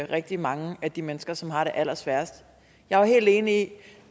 rigtig mange af de mennesker som har det allersværest jeg er helt enig i